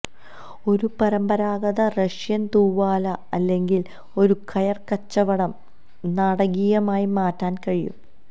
ഒരു പരമ്പരാഗത റഷ്യൻ തൂവാല അല്ലെങ്കിൽ ഒരു കയർ കച്ചവടം നാടകീയമായി മാറ്റാൻ കഴിയും